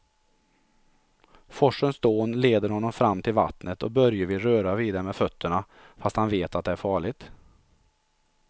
Forsens dån leder honom fram till vattnet och Börje vill röra vid det med fötterna, fast han vet att det är farligt.